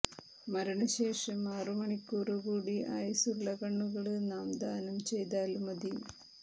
മരണശേഷം ആറുമണിക്കൂര് കൂടി ആയുസ്സുള്ള കണ്ണുകള് നാം ദാനം ചെയ്താല് മതി